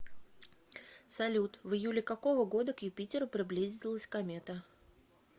салют в июле какого года к юпитеру приблизилась комета